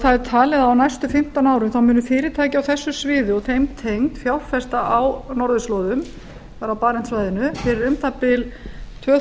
það er talið að á næstu fimmtán árum þá muni fyrirtæki á þessu sviði og þeim tengd fjárfesta á norðurslóðum það er á barentssvæðinu fyrir um það bil tvö